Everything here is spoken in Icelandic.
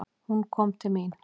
Hún kom til mín.